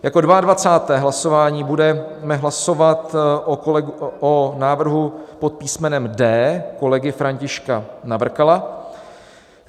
Jako 22. hlasování budeme hlasovat o návrhu pod písmenem D kolegy Františka Navrkala.